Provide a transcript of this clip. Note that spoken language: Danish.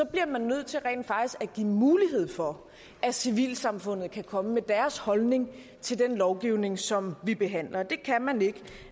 bliver nødt til rent faktisk at give mulighed for at civilsamfundet kan komme med deres holdning til den lovgivning som vi behandler det kan man ikke